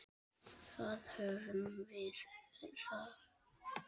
Þar höfum við það!